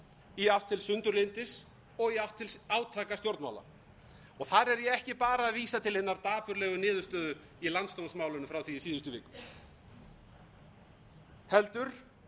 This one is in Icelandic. í átt til sundurlyndis og í átt til átakastjórnmála og þar er ég ekki bara að vísa til hinnar dapurlegu niðurstöðu í landsdómsmálinu frá því í síðustu viku heldur